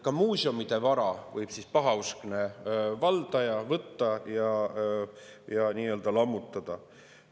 Ka muuseumide vara võib pahauskne valdaja võtta ja lammutada.